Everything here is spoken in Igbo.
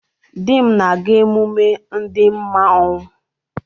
Di m na-aga emume ndị manwu.